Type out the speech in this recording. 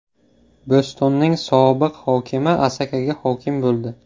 Bo‘stonning sobiq hokimi Asakaga hokim bo‘ldi.